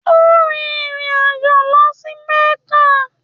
Ó rin ìrìn àjọ̀ lọ sí Mẹ́kà.